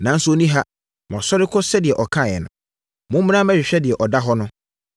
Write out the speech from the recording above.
nanso ɔnni ha. Wasɔre kɔ sɛdeɛ ɔkaeɛ no. Mommra mmɛhwɛ deɛ na ɔda hɔ no.